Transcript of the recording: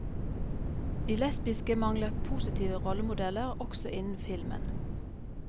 De lesbiske mangler positive rollemodeller, også innen filmen.